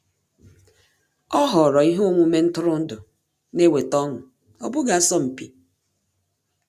Ọ́ họ̀ọ̀rọ̀ ihe omume ntụrụndụ nà-èwétá ọ́ṅụ́, ọ́ bụ́ghị́ asọmpi.